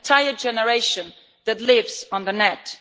An entire generation that lives on the net.